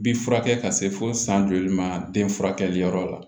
Bi furakɛ ka se fo san joli ma den furakɛli yɔrɔ la